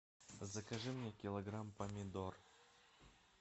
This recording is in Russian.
закажи мне килограмм помидор